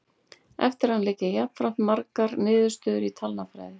Eftir hann liggja jafnframt fjölmargar niðurstöður í talnafræði.